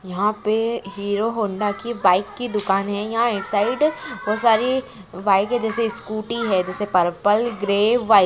यहा पे Hero Honda की बाइक की दुकान हे यहा एक साइड बोहोत सारी बाइक हे जेसे स्कूटी हे जेसे पर्पल ग्रे वाइट